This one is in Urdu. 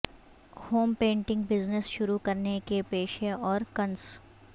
ہوم پینٹنگ بزنس شروع کرنے کے پیشہ اور کنس